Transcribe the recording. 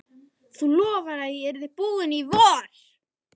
Þú lofaðir að ég yrði búinn í vor!